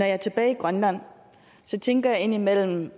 er tilbage i grønland tænker jeg indimellem